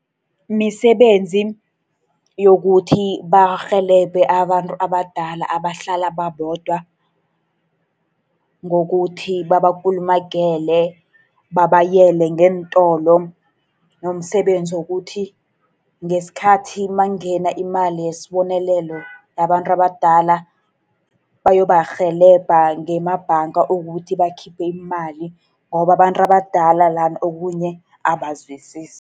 Misebenzi yokuthi barhelebhe abantu abadala abahlala babodwa, ngokuthi babakulumagele, babayele ngeentolo, nomsebenzi wokuthi ngesikhathi nakungena imali yesibonelelo yabantu abadala, bayobarhelebha ngemabhanga, ukuthi bakhiphe imali. Ngoba abantu abadala lana okhunye abazwisisi.